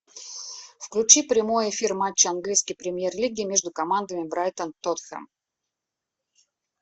включи прямой эфир матча английской премьер лиги между командами брайтон тоттенхэм